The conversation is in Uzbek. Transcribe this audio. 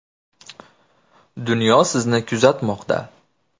Dunyo sizni kuzatmoqda.